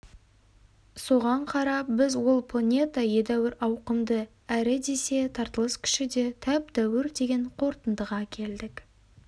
соған қарап біз ол планета едәуір ауқымды әрі десе тартылыс күші де тәп-тәуір деген қорытындыға келдік